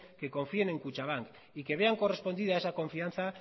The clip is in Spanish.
que confíen en kutxabank y que vean correspondida esa confianza